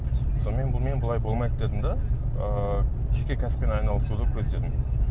сонымен бұнымен болмайды дедім де ыыы жеке кәсіппен айналысуды көздедім